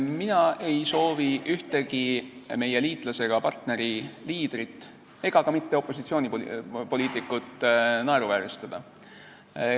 Mina ei soovi ühtegi meie liitlase ega partneri liidrit ega ka mitte opositsioonipoliitikut naeruvääristada.